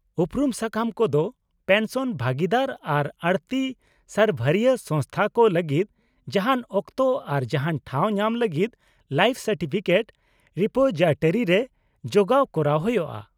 -ᱩᱯᱨᱩᱢ ᱥᱟᱠᱟᱢ ᱠᱚᱫᱚ ᱯᱮᱱᱥᱚᱱ ᱵᱷᱟᱹᱜᱤᱫᱟᱨ ᱟᱨ ᱟᱲᱹᱛᱤ ᱥᱟᱨᱵᱷᱟᱨᱨᱤᱭᱟᱹ ᱥᱚᱝᱥᱛᱷᱟ ᱠᱚ ᱞᱟᱹᱜᱤᱫ ᱡᱟᱦᱟᱱ ᱚᱠᱛᱚ ᱟᱨ ᱡᱟᱦᱟᱱ ᱴᱷᱟᱣ ᱧᱟᱢ ᱞᱟᱹᱜᱤᱫ ᱞᱟᱭᱤᱯᱷ ᱥᱟᱨᱴᱤᱯᱷᱤᱠᱮᱴ ᱨᱤᱯᱳᱡᱤᱴᱟᱨᱤᱨᱮ ᱡᱚᱜᱟᱣ ᱠᱚᱨᱟᱣ ᱦᱳᱭᱳᱜᱼᱟ ᱾